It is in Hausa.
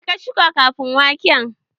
Me ka shuka ƙafin waken?